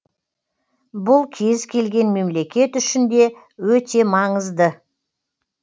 бұл кез келген мемлекет үшін де өте маңызды